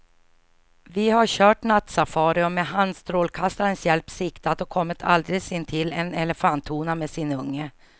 Vi har kört nattsafari och med handstrålkastarens hjälp siktat och kommit alldeles intill en elefanthona med sin unge.